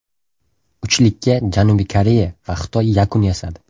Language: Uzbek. Uchlikka Janubiy Koreya va Xitoy yakun yasadi.